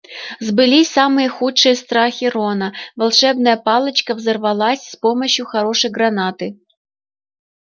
сбылись самые худшие страхи рона волшебная палочка взорвалась с помощью хорошей гранаты